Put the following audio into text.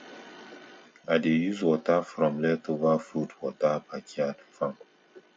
i dey use water from leftover food water backyard farm